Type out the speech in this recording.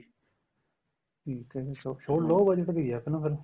ਠੀਕ ਏ ਜੀ ਸੋ low budget ਗਈ ਏ ਆਪਣਾ ਫੇਰ